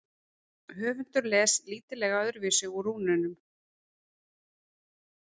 Höfundur les lítillega öðruvísi úr rúnunum.